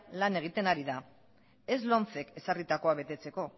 lan egiten ari da ez lomcek ezarritakoa betetzeko